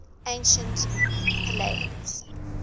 ancient pellaeans